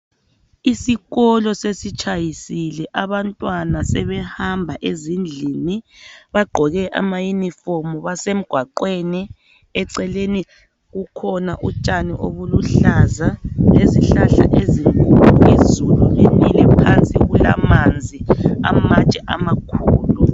Isikolo sesitshayisile, abantwana sebehamba ezindlini. Bagqoke amayunifomu basemgwaqweni. Eceleni kukhona utshani obuluhlaza lezihlahla ezikhulu. Izulu linile phansi kulamanzi, amatshe amakhulu.